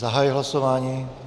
Zahajuji hlasování.